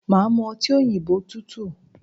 Màá mu ọtí òyìnbó tútù